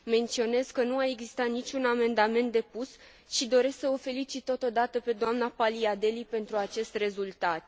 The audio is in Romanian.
Menționez că nu a existat niciun amendament depus și doresc să o felicit totodată pe doamna Paliadeli pentru acest rezultat.